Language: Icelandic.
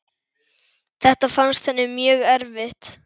Þetta fannst henni mjög erfitt.